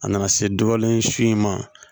A nana se dɔlen si in ma